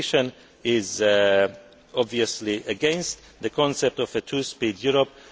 involved. The Commission is obviously against the concept of a two speed